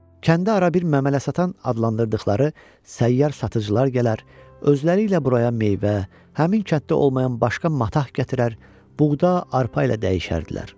Kəndə ara bir məmələ satan adlandırdıqları səyyar satıcılar gələr, özləri ilə buraya meyvə, həmin kənddə olmayan başqa matah gətirər, buğda, arpa ilə dəyişərdilər.